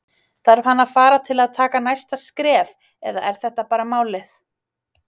Þarf hann að fara til að taka næsta skref eða er þetta bara málið?